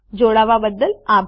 જોડાવા બદ્દલ આભાર